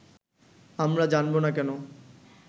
আমরা জানবো না কেন